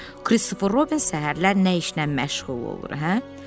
Kristofer Robin səhərlər nə işlə məşğul olur, hə?